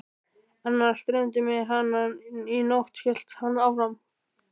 Annars dreymdi mig hana í nótt, hélt hann áfram.